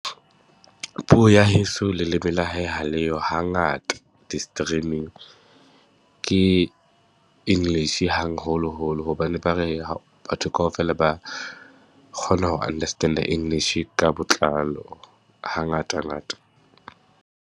Puo ya heso leleme la hae ha le yo. Hangata, di-streaming ke English hangholoholo hobane ba re batho kaofela ba kgona ho understand-a English ka botlalo, hangatangata.